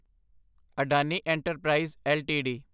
Adani enterprise LTD